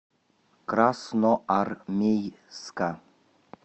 красноармейска